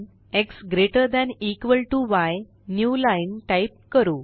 x greater than equal to y new line type करू